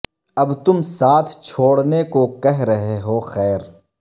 اب تم ساتھ چھوڑ نے کو کہہ رہے ہو خیر